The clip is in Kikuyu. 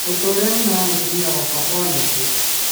O ta ũrĩa nyina wa mũtumia wakwa onete